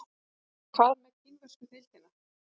En hvað með kínversku deildina?